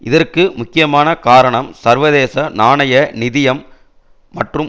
இதற்கு முக்கியமான காரணம் சர்வதேச நாணய நிதியம் மற்றும்